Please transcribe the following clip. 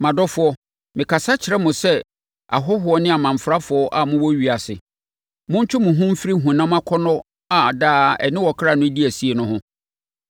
Mʼadɔfoɔ, mekasa kyerɛ mo sɛ ahɔhoɔ ne amamfrafoɔ a mowɔ ewiase. Montwe mo ho mfiri honam akɔnnɔ a daa ɛne ɔkra no di asie no ho.